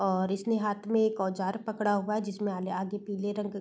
और इसने हाथ में एक औजार पकड़ा हुआ है जिसमे आले आगे पिले रंग --